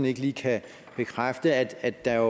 ikke lige kan bekræfte at der